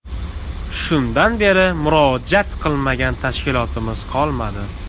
Shundan beri murojaat qilmagan tashkilotimiz qolmadi.